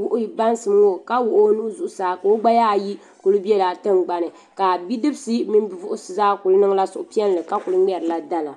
wuhi baasiloo ka wuhi o nuhi zuɣu saa ka ka o gbaya ayi kuli bɛla tingbani ka bipuɣunsi mini bidibsi zaa kuli niŋla suhupiɛlli ka kuli ŋmɛrila dala